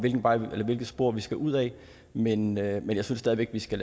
hvilket spor vi skal ud ad men jeg men jeg synes stadig væk vi skal